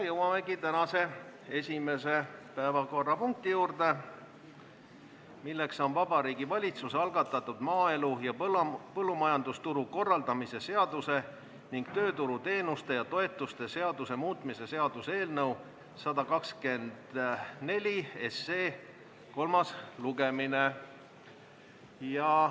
Jõuamegi tänase esimese päevakorrapunkti juurde, milleks on Vabariigi Valitsuse algatatud maaelu ja põllumajandusturu korraldamise seaduse ning tööturuteenuste ja -toetuste seaduse muutmise seaduse eelnõu 124 kolmas lugemine.